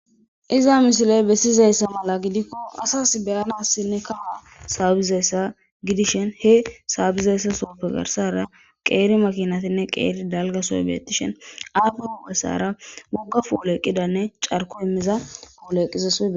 iza mishiley bessizayssa mala gidikko asas beyanassinne kawa saabizayssa gidishen he saabizayssa sooppe garsara qeeri makinatinne qeeri dalga sobiyetishen aafe huo7essara wogga fooleeqqidanne carko immiza pooleeqqizas